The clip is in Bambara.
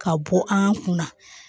Ka bɔ an kun na